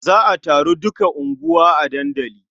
Za a taron duka unguwa a dandali.